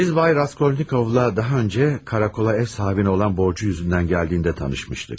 Biz Bay Raskolnikovla daha öncə karakola ev sahibinə olan borcu yüzündən gəldiyində tanışmışdıq.